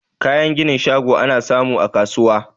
Kayan ginin shago ana samu a kasuwa